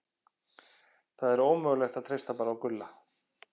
Það er ómögulegt að treysta bara á Gulla.